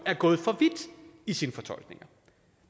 er gået for vidt i sine fortolkninger